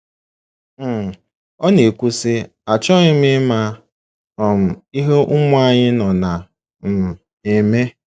um Ọ na - ekwu, sị: “ Achọghị m ịma um ihe ụmụ anyị nọ na um - eme.